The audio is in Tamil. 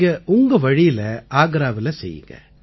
நீங்க உங்க வழியில ஆக்ராவுல செய்யுங்க